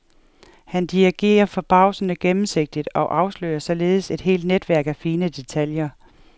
Han dirigerer forbavsende gennemsigtigt og afslører således et helt netværk af fine detaljer.